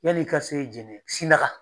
Yan'i ka se Jɛnɛ Sina